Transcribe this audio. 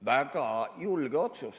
Väga julge otsus.